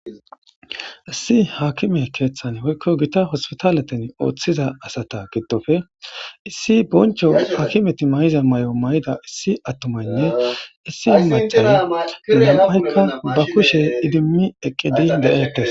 Issi hakime keeththan woykko gita hospitaleten ooththiza asata giddofe issi boncho hakimeti may'iza may'o may'ida issi attomanne issi macala lam'aykka ba kushe idimmi eqqedi de'eetes.